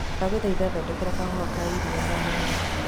Ndagũthaĩtha thodekera kahũa ka iria ndagũthaĩtha?